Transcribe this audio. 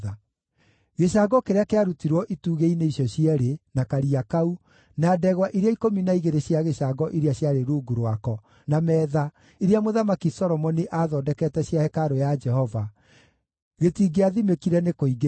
Gĩcango kĩrĩa kĩarutirwo itugĩ-inĩ icio cierĩ, na Karia kau, na ndegwa iria ikũmi na igĩrĩ cia gĩcango iria ciarĩ rungu rwako, na metha, iria Mũthamaki Solomoni aathondekete cia hekarũ ya Jehova, gĩtingĩathimĩkire nĩ kũingĩha.